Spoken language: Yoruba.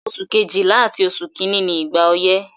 Oṣù Kejìlá àti oṣù kìíní ni ìgbà ọyẹ́.